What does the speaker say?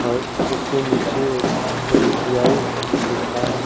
और उसके नीचे एक ऐसबीआई दिखा--